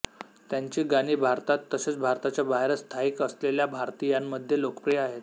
त्यांची गाणी भारतात तसेच भारताच्या बाहेर स्थायिक असलेल्या भारतीयांमध्ये लोकप्रिय आहेत